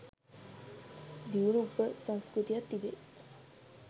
දියුණු උපසංස්කෘතියක් තිබේ.